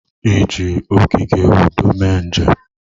Ị ji ogige udo mee njem?